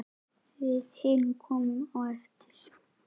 Við hin komum á eftir.